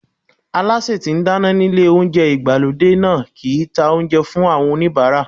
Alásè tí ń dáná nílé oúnjẹ ìgbàlódé náà kì í ta oúnjẹ fún àwọn oníbàárà.